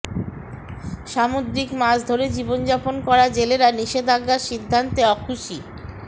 সামুদ্রিক মাছ ধরে জীবনযাপন করা জেলেরা নিষেধাজ্ঞার সিদ্ধান্তে অখুশী